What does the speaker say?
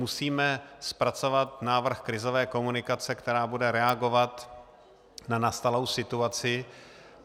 Musíme zpracovat návrh krizové komunikace, která bude reagovat na nastalou situaci.